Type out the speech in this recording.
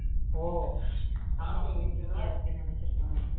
அம்மா phone busy யா இருக்குன்னு நினைச்சி இருப்பா